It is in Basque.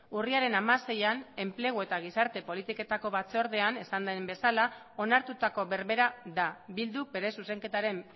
urriaren hamaseian enplegu eta gizarte politiketako batzordean esan den bezala onartutako berbera da bilduk bere zuzenketaren